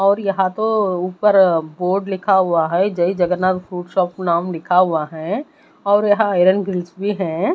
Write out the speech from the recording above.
और यहां तो ऊपर बोर्ड लिखा हुआ है जय जगन्नाथ फूड शॉप नाम लिखा हुआ है और यहां भी हैं।